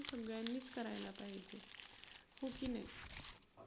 सगळ्यांनीच करायला पाहिजे. हो की नाही?